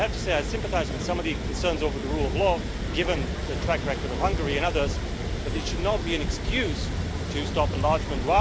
I have to say I sympathise with some of the concerns over the rule of law, given the track record of Hungary and others, but it should not be an excuse to stop enlargement.